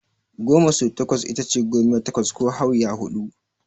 Goma sau takwas itace gomiya takwas ko Hauya huɗu.